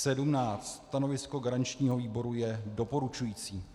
Stanovisko garančního výboru je doporučující.